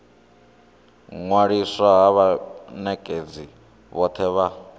ṅwaliswa ha vhanekedzi vhothe vha